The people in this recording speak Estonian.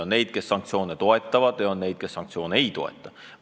On neid, kes sanktsioone toetavad, ja on neid, kes sanktsioone ei toeta.